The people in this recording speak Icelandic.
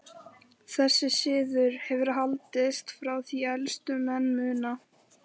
Þessi siður hefur haldist frá því elstu menn muna.